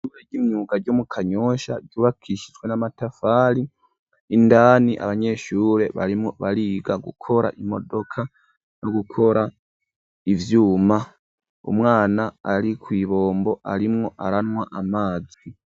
Ishure ry'imyuga ryo mu kanyosha ryubakishyijwe n'amatafari indani abanyeshure barimwo bariga gukora imodoka no gukora ivyuma umwana ari kw,ibombo arimwo aranywa amazi.